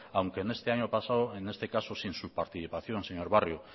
aunque en este año pasado en este caso sin su participación señor barrio